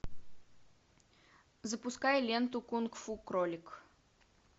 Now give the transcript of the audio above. запускай ленту кунг фу кролик